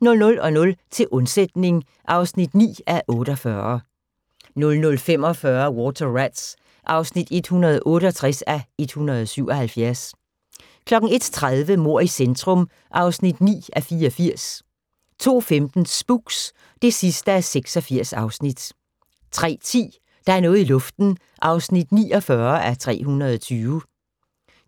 00:00: Til undsætning (9:48) 00:45: Water Rats (168:177) 01:30: Mord i centrum (9:84) 02:15: Spooks (86:86) 03:10: Der er noget i luften (49:320)